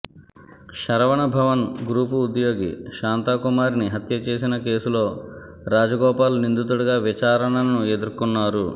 Saravana Bhavan group ఉద్యోగి శాంతా కుమార్ని హత్యచేసిన కేసులో రాజగోపాల్ నిందితుడుగా విచారణను ఎదుర్కొన్నారు